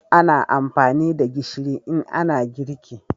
ana amfani da gishiri in ana girki